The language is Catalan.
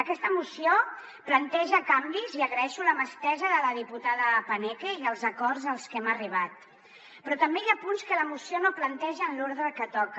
aquesta moció planteja canvis i agraeixo la mà estesa de la diputada paneque i els acords als que hem arribat però també hi ha punts que la moció no planteja en l’ordre que toca